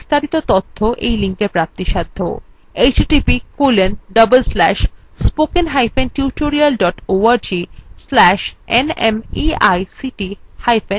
এই বিষয় বিস্তারিত তথ্য এই লিঙ্কএ প্রাপ্তিসাধ্য